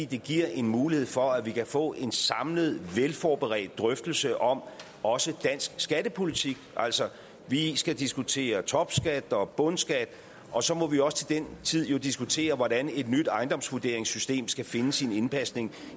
det giver en mulighed for at vi kan få en samlet velforberedt drøftelse om også dansk skattepolitik altså vi skal diskutere topskat og bundskat og så må vi også til den tid diskutere hvordan et nyt ejendomsvurderingssystem skal finde sin indpasning